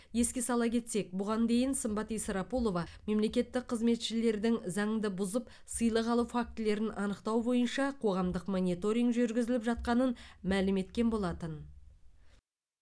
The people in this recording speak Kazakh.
еске сала кетсек бұған дейін сымбат исрапулова мемлекеттік қызметшілердің заңды бұзып сыйлық алу фактілерін анықтау бойынша қоғамдық мониторинг жүргізіліп жатқанын мәлім еткен болатын